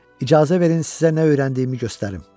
İcazə verin sizə nə öyrəndiyimi göstərim.